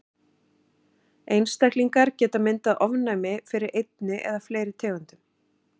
Einstaklingar geta myndað ofnæmi fyrir einni eða fleiri tegundum.